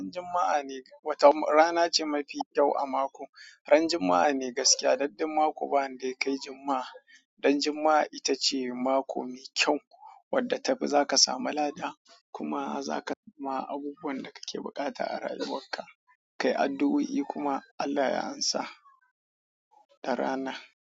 Ran juma'a wata rana ce mafi kyau a mako, ran juma'a ne gaskiya. Don duk mako ba wanda dai kai juma'a, dan juma'a ita ce mako mai kyau wadda ta fi za ka samu lada kuma zaka samu abubuwan da kake bukata a rayuwar ka. Kai addu'o'i kuma Allah ya amsa. Da rana.